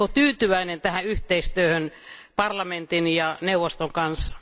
Oletteko tyytyväinen tähän yhteistyöhön parlamentin ja neuvoston kanssa?